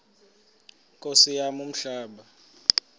nkosi yam umhlaba